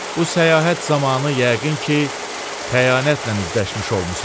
Bu səyahət zamanı yəqin ki, xəyanətlə üzləşmiş olmusan.